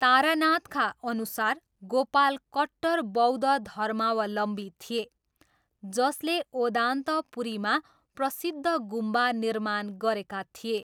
तारानाथका अनुसार गोपाल कट्टर बौद्ध धर्मावलम्बी थिए, जसले ओदान्तपुरीमा प्रसिद्ध गुम्बा निर्माण गरेका थिए।